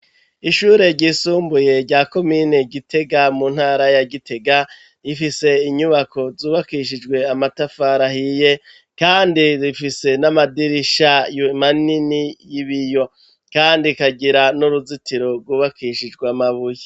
Ishure ryisumbuye rya komine Gitega, mu ntara ya Gitega, rifise inyubako zubakishijwe amatafari ahiye kandi rifise n'amadirisha manini y'ibiyo, kandi rikagira n'uruzitiro rwubakishijwe amabuye.